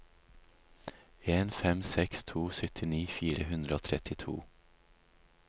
en fem seks to syttini fire hundre og trettito